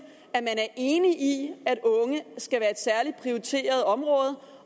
at man er enig i at unge skal være et særlig prioriteret område